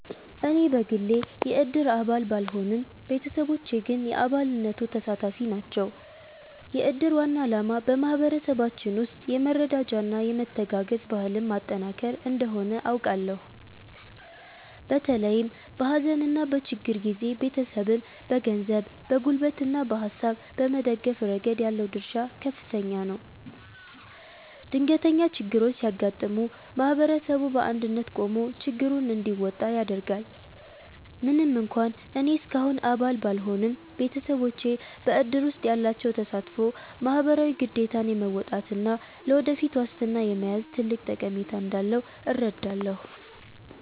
እኔ በግሌ የእድር አባል ባልሆንም፣ ቤተሰቦቼ ግን የአባልነቱ ተሳታፊ ናቸው። የእድር ዋና ዓላማ በማኅበረሰባችን ውስጥ የመረዳጃና የመተጋገዝ ባህልን ማጠናከር እንደሆነ አውቃለሁ። በተለይም በሐዘንና በችግር ጊዜ ቤተሰብን በገንዘብ፣ በጉልበትና በሐሳብ በመደገፍ ረገድ ያለው ድርሻ ከፍተኛ ነው። ድንገተኛ ችግሮች ሲያጋጥሙ ማኅበረሰቡ በአንድነት ቆሞ ችግሩን እንዲወጣ ያደርጋል። ምንም እንኳን እኔ እስካሁን አባል ባልሆንም፣ ቤተሰቦቼ በእድር ውስጥ ያላቸው ተሳትፎ ማኅበራዊ ግዴታን የመወጣትና ለወደፊት ዋስትና የመያዝ ትልቅ ጠቀሜታ እንዳለው እረዳለሁ።